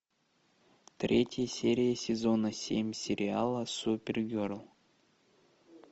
третья серия сезона семь сериала супергерл